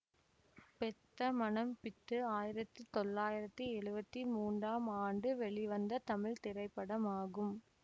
பெத்த மனம் பித்து ஆயிரத்தி தொள்ளாயிரத்தி எழுவத்தி மூனாம் ஆண்டு வெளிவந்த தமிழ் திரைப்படமாகும்